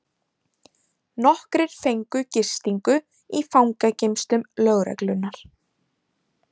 Nokkrir fengu gistingu í fangageymslum lögreglunnar